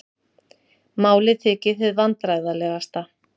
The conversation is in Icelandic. Málið þykir hið vandræðalegasta